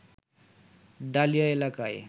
dahlia এলাকায়